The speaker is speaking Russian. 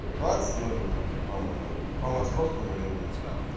в двадцать ноль ноль по-моему по московскому времени